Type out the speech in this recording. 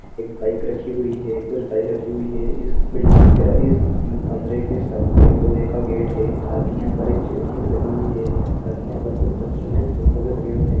एक बाइक रखी हुई हे कुछ बाइक रखी हुई हे इस बिल्डिंग का इस कमरे के सामने एक लोहे का गेट हे साथ ही यहा पर खिड़की भी लगी हुई हे। साथ ही यहा पर कुछ बच्चों के फोटो भी लगे हुवे हे।